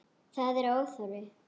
Það er óþarfi.